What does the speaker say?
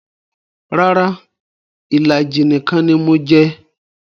Rara, ìlàjì nìkan ni mo jẹ